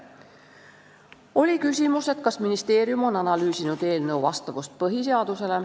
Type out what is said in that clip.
Oli küsimus, kas ministeerium on analüüsinud eelnõu vastavust põhiseadusele.